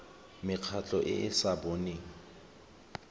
mekgatlho e e sa boneng